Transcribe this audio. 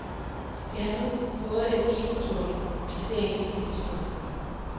Det har nu fået en enestående placering i filmhistorien.